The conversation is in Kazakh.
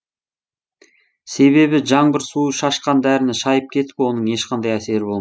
себебі жаңбыр суы шашқан дәріні шайып кетіп оның ешқандай әсері болмайды